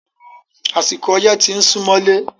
Àsìkò ọyẹ́ ti ń súmọ́lé.